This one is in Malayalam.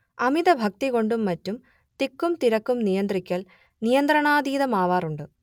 അമിതഭക്തി കൊണ്ടും മറ്റും തിക്കും തിരക്കും നിയന്ത്രിക്കൽ നിയന്ത്രണാതീതമാവാറുണ്ട്